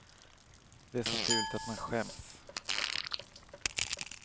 Det är så fult att man skäms.